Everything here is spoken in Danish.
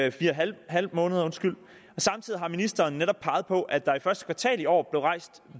en halv måned og samtidig har ministeren netop peget på at der i første kvartal i år blev rejst